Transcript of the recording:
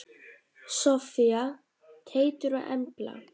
Soffía, Teitur og Embla.